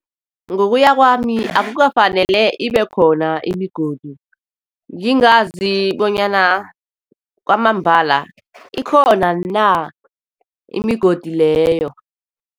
Ngokuya kwami, akafanele ibe khona imigodi. Ngingazi bonyana kwamambala ikhona na, imigodi leyo.